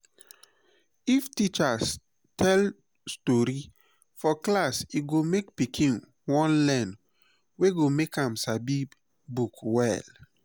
if teacher tell stori for class e go make pikin wan learn wey go make am sabi book well.